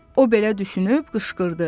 O belə düşünüb qışqırdı.